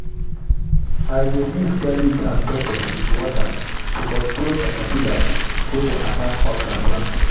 i dey mix garlic and pepper with water to control caterpillars wey dey attack okra plants.